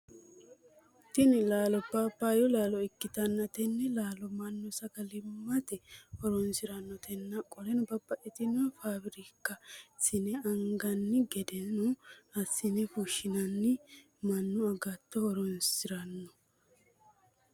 Tinni laallo paapaayu laallo ikitanna tenne laallo mannu sagalimate horoonsiranotenna qoleno babbaxino faafirika eesine anganni gedeno asine fushineenna Manu agateno horoonsirano.